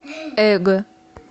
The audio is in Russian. эго